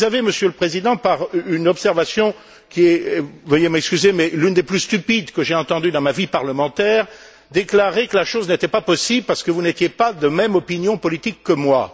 Vous avez, Monsieur le Président, par une observation qui est veuillez m'excuser l'une des plus stupides que j'aie entendue dans ma vie parlementaire, déclarer que la chose n'était pas possible parce que vous n'étiez pas de même opinion politique que moi.